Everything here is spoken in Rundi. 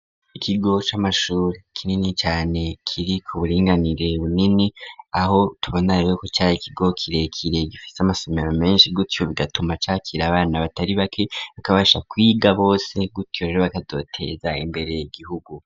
Ikigo c'amashuri kinini cane kiri ku buringanire bunini, aho tubona rero ko cari ' kigo kirekire gifise amasomero menshi, gutyo bigatuma cakir' abana batari bake bakabasha kwiga bose, gutyo rero bakazoteza imbere igihugu.